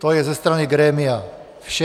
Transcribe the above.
To je ze strany grémia vše.